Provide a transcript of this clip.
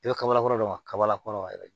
I bɛ kabalakola de wa kabala kɔnɔ yɛrɛ